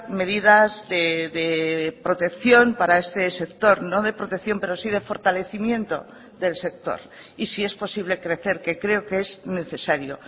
medidas de protección para este sector no de protección pero sí de fortalecimiento del sector y si es posible crecer que creo que es necesario